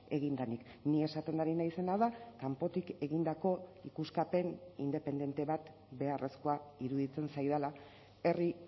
egin denik ni esaten ari naizena da kanpotik egindako ikuskapen independente bat beharrezkoa iruditzen zaidala herri